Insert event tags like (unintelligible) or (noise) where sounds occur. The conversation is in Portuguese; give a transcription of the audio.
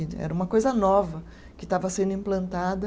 (unintelligible) Era uma coisa nova que estava sendo implantada.